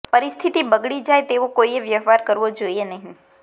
પરિસ્થિતિ બગડી જાય તેવો કોઈએ વ્યવહાર કરવો જોઈએ નહીં